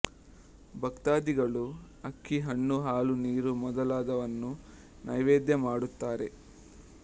ಭಕ್ತಾದಿಗಳು ಅಕ್ಕಿ ಹಣ್ಣು ಹಾಲು ನೀರು ಮೊದಲಾದುವನ್ನು ನೈವೇದ್ಯ ಮಾಡುತ್ತಾರೆ